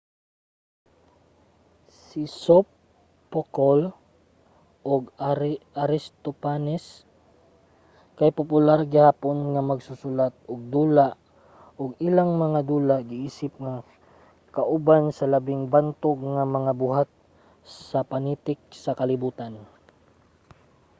si sophocle ug aristophanes kay popular gihapon nga magsusulat-ug-dula ug ang ilang mga dula giisip nga kauban sa labing bantog nga mga buhat sa panitik sa kalibutan